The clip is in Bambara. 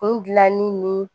Kun gilanni ni